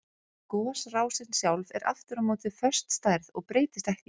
Gosrásin sjálf er aftur á móti föst stærð og breytist ekki.